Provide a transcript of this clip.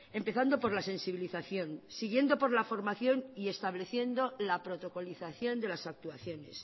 empezando por la sensibilización siguiendo por la formación y estableciendo la protocolización de las actuaciones